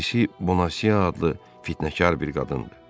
Birisi Bonasiya adlı fitnəkar bir qadındır.